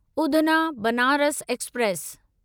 Udhna Banaras express